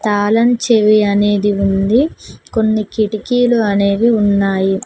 తాళం చెవి అనేది ఉంది కొన్ని కిటికీలు అనేవి ఉన్నాయి.